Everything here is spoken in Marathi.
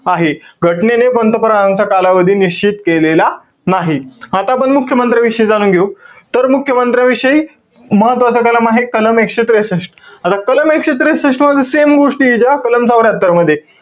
आहे. घटनेने पंतप्रधानांचा कालावधी निश्चित केलेला नाही. आता आपण मुख्यमंत्र्याविषयी जाणून घेऊ. तर मुख्यमंत्र्याविषयी महत्वाचा कलम आहे. कलम एकशे त्रेसष्ट. आता कलम एकशे त्रेसष्टमध्ये same गोष्टीय ज्या कलम चौर्यात्तर मध्येय.